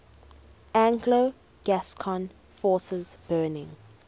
anglo gascon forces burning